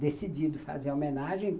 decidido fazer a homenagem.